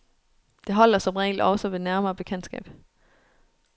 Det holder som regel også ved nærmere bekendtskab.